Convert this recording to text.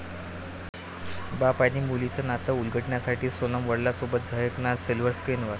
बाप आणि मुलीचं नात उलगडण्यासाठी सोनम वडिलांसोबत झळकणार सिल्व्हर स्क्रिनवर